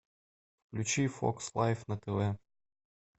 включи фокс лайв на тв